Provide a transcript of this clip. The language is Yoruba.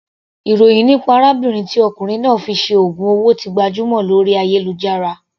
Ìròhìn nípa arábìnrin tí ọkùnrin náà fi ṣe ògùn owó ti gbajúmọ̀ lórí ayélujára.